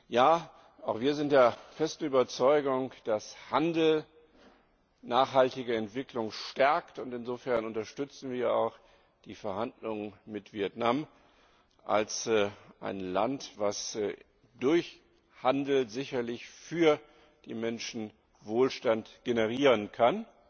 Ja, auch wir sind der festen Überzeugung, dass Handel nachhaltige Entwicklung stärkt, und insofern unterstützen wir auch die Verhandlungen mit Vietnam, einem Land, das durch Handel sicherlich für die Menschen Wohlstand generieren kann.